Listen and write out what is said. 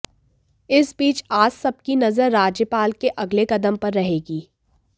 इस बीच आज सबकी नजर राज्यपाल के अगले कदम पर रहेगी